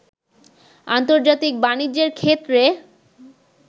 আন্তর্জাতিক বাণিজ্যের ক্ষেত্রে